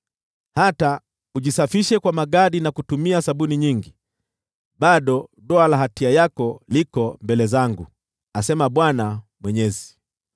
Hata ujisafishe kwa magadi na kutumia sabuni nyingi, bado doa la hatia yako liko mbele zangu,” asema Bwana Mwenyezi.